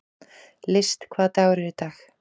List, hvaða dagur er í dag?